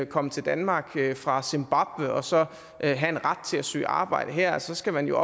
komme til danmark fra zimbabwe og så have en ret til at søge arbejde her så skal man jo